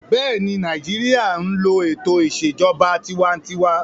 Bẹ́ẹ̀ni, Nàìjíríyà n lo ètò ìṣèjọba tinwatinwa